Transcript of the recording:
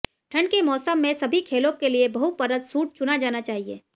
ठंड के मौसम में सभी खेलों के लिए बहु परत सूट चुना जाना चाहिए